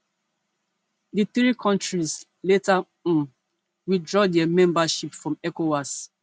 di three kontris later um withdraw dia membership from ecowas